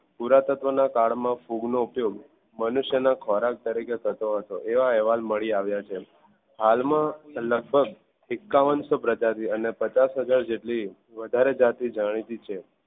પુરાતત્વ ના કાલ માં ફૂગ નો ઉપયોગ મનુષ્ય ના ખોરાક તરીકે થતો હતો એવા અહેવાલ મળી આવ્યા છે હાલ માં લગભગ એકાવાન્શો પ્રજાતિ અને પચાસ હાજર જેટલી વધારે જાતી જાણીતી છે.